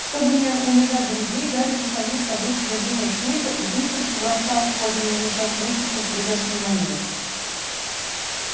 чтобы не унижать друзей гарри заслонил собой содержимое сейфа и быстро побросал в кожаный мешок несколько пригоршней монет